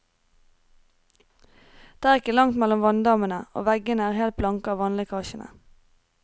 Det er ikke langt mellom vanndammene, og veggene er helt blanke av vannlekkasjene.